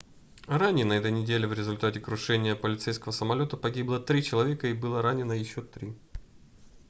ранее на этой неделе в результате крушения полицейского самолёта погибло три человека и было ранено еще три